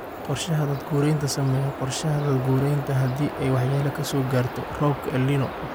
Qorshaha daad-gureynta Samee qorshe daad-gureynta haddii ay waxyeello ka soo gaarto roobabka El Niño.